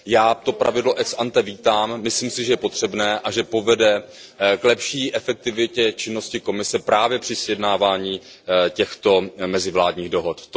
Já to pravidlo ex ante vítám, myslím si, že je potřebné a že povede k lepší efektivitě činnosti Komise právě při sjednávání těchto mezivládních dohod.